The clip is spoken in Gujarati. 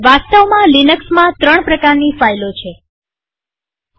વાસ્તવમાં લિનક્સમાં ત્રણ પ્રકારની ફાઈલો છે ૧